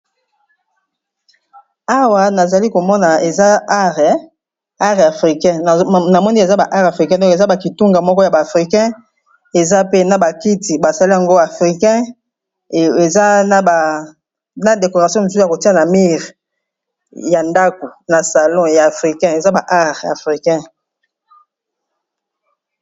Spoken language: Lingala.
Awa nazali komona eza art africain na moni eza ba art africain donc eza ba kitunga moko ya ba africain eza pe na ba kiti basali yango africain eza na decoration mosusu ya kotia na mire ya ndako na salon ya afrikain eza ba art africain.